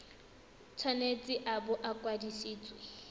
tshwanetse a bo a kwadisitswe